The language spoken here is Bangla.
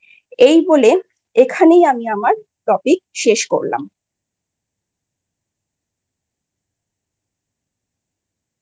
এইবলে এখানেই আমি আমার Topic শেষ করলাম।